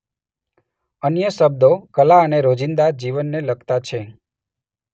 અન્ય શબ્દો કલા અને રોજિંદા જીવનને લગતા છે.